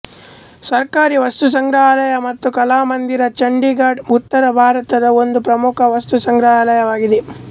ಸರ್ಕಾರಿ ವಸ್ತುಸಂಗ್ರಹಾಲಯ ಮತ್ತು ಕಲಾಮಂದಿರ ಚಂಡೀಗಢ್ ಉತ್ತರ ಭಾರತದ ಒಂದು ಪ್ರಮುಖ ವಸ್ತುಸಂಗ್ರಹಾಲಯವಾಗಿದೆ